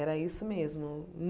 Era isso mesmo.